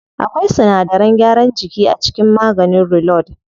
Akwai sinadaran gyaran jiki a cikin maganin reload.